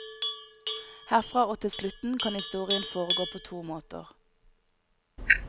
Herfra og til slutten, kan historien foregå på to måter.